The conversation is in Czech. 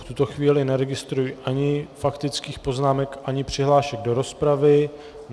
V tuto chvíli neregistruji ani faktických poznámek, ani přihlášek do rozpravy.